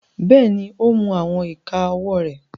Bẹ́ẹ̀ni, o ń mu awọn ika ọwọ re